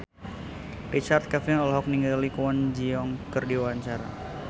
Richard Kevin olohok ningali Kwon Ji Yong keur diwawancara